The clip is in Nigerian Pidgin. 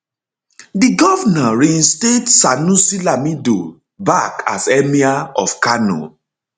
di govnor reinstate sanusi lamido sanusi back as emir of kano